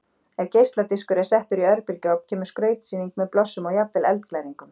Ef geisladiskur er settur í örbylgjuofn kemur skrautsýning með blossum og jafnvel eldglæringum.